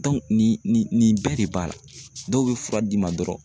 nin nin nin bɛɛ de b'a la dɔw bɛ fura d'i ma dɔrɔn